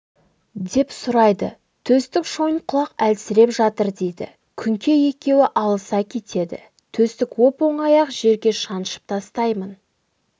деп сұрайды төстік шойынқұлақ әлсіреп жатыр дейді күңке екеуі алыса кетеді төстік оп-оңай-ақ жерге шаншып тастаймын